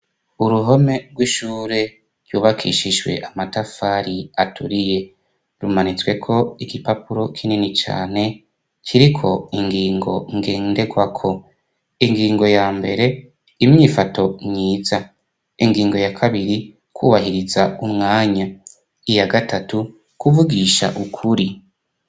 Uruhome rw'ishure rw'ubakishijwe amatafari aturiye. Rumanitsweko igipapuro kinini cane, kiriko ingingo ngendekwako. Ingingo ya mbere imyifato myiza. Ingingo ya kabiri kwubahiriza umwanya. Iya gatatu kuvugisha ukuri.